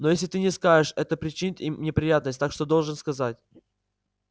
но если ты не скажешь это причинит им неприятность так что должен сказать